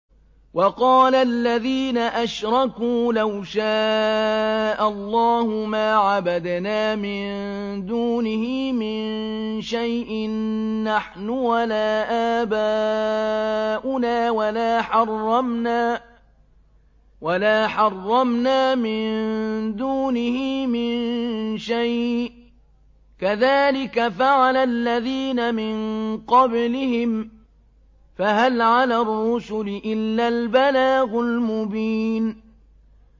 وَقَالَ الَّذِينَ أَشْرَكُوا لَوْ شَاءَ اللَّهُ مَا عَبَدْنَا مِن دُونِهِ مِن شَيْءٍ نَّحْنُ وَلَا آبَاؤُنَا وَلَا حَرَّمْنَا مِن دُونِهِ مِن شَيْءٍ ۚ كَذَٰلِكَ فَعَلَ الَّذِينَ مِن قَبْلِهِمْ ۚ فَهَلْ عَلَى الرُّسُلِ إِلَّا الْبَلَاغُ الْمُبِينُ